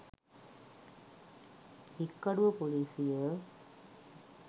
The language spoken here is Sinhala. හික්කඩුව ‍පොලිසිය